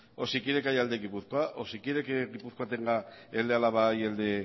o si quiere que haya el de gipuzkoa o si quiere que gipuzkoa tenga el de álava y el de